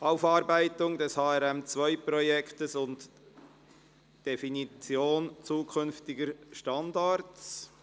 Aufarbeitung des HRM2-Projekts und Definition zukünftiger Standards».